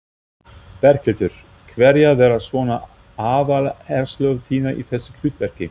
Berghildur: Hverjar verða svona aðaláherslur þínar í þessu hlutverki?